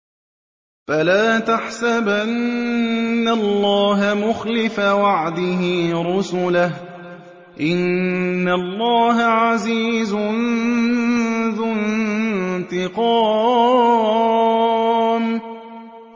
فَلَا تَحْسَبَنَّ اللَّهَ مُخْلِفَ وَعْدِهِ رُسُلَهُ ۗ إِنَّ اللَّهَ عَزِيزٌ ذُو انتِقَامٍ